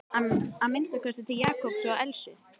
Að minnsta kosti til Jakobs og Elsu.